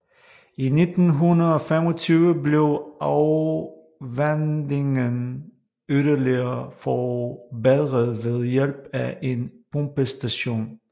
I 1925 blev afvandingen yderligere forbedret ved hjælp af en pumpestation